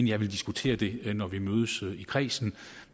jeg vil diskutere det når vi mødes i kredsen